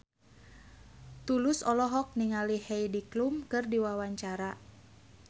Tulus olohok ningali Heidi Klum keur diwawancara